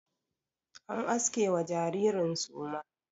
An aske wa jaririn suma.